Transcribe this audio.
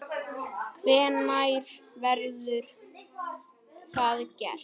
Hvenær verður það gert?